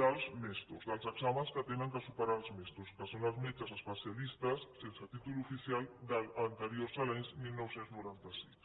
dels mesto dels exàmens que han de superar els mesto que són els metges especialistes sense títol oficial anteriors a l’any dinou noranta sis